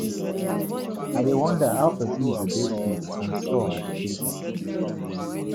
I dey wonder how person go dey sweet and sour the same time.